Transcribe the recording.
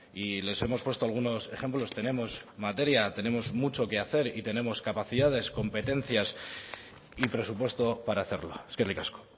y les hemos puesto algunos ejemplos tenemos materia tenemos mucho que hacer y tenemos capacidades competencias y presupuesto para hacerlo eskerrik asko